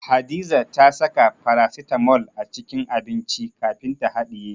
Hadiza ta saka farasitamol a cikin abinci kafin ta haɗiye.